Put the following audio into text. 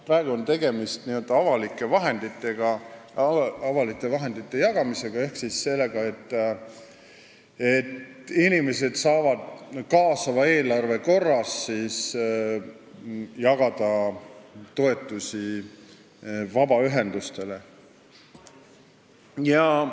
Praegu on tegemist avalike vahendite jagamisega ehk sellega, et inimesed saavad kaasava eelarve korras vabaühendustele toetusi jagada.